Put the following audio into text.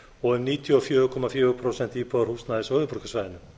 og um níutíu og fjögur komma fjögur prósent íbúðarhúsnæðis á höfuðborgarsvæðinu